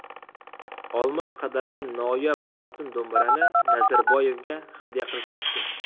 Olmos qadalgan noyob oltin do‘mbirani Nazarboyevga hadya qilishmoqchi.